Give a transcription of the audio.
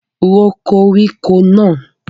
Ró koríko náà!